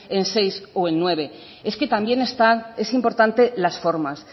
en seis o en nueve es que también está es importante las formas